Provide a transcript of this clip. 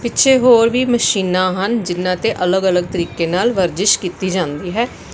ਪਿੱਛੇ ਹੋਰ ਵੀ ਮਸ਼ੀਨਾਂ ਹਨ ਜਿਨਾਂ ਤੇ ਅਲਗ-ਅਲਗ ਤਰੀਕੇ ਨਾਲ ਵਰਜਿਸ਼ ਕੀਤੀ ਜਾਂਦੀ ਹੈ।